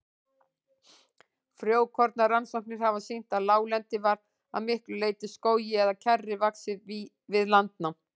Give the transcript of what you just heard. Frjókornarannsóknir hafa sýnt að láglendi var að miklu leyti skógi eða kjarri vaxið við landnám.